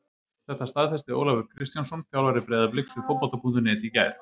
Þetta staðfesti Ólafur Kristjánsson þjálfari Breiðabliks við Fótbolta.net í gær.